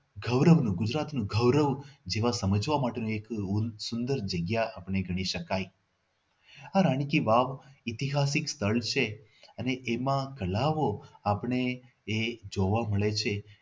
ગૌરવનું ગુજરાતનું ગૌરવ જેવા સમજવા માટે એક સુંદર જગ્યા આપણે ગણી શકાય. આ રાણી કી વાવ ઐતિહાસિક સ્થળ છે અને એમાં લહાવો આપણે એ જોવા મળે છે કે